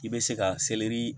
I bɛ se ka